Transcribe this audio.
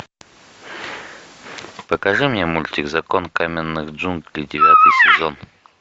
покажи мне мультик закон каменных джунглей девятый сезон